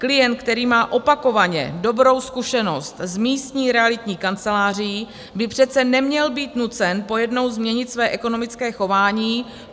Klient, který má opakovaně dobrou zkušenost s místní realitní kanceláří, by přece neměl být nucen pojednou změnit své ekonomické chování.